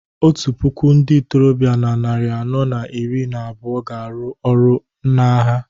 otu puku ndị ntorobịa na narị anọ na iri na abụọ ga-arụ ọrụ n’agha